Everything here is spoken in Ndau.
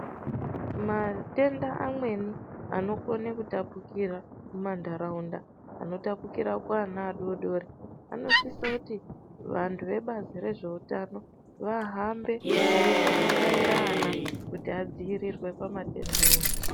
Matenda amweni anokona kutapudzira mumandaraunda anotapudzira kuvana vadodori vanosisa kuti vantu vebazi rezvehutano vahambe veikona kubairwa vana kuti vadzivirire matenda.